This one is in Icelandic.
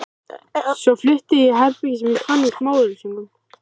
Svo flutti ég í herbergi sem ég fann í smáauglýsingunum.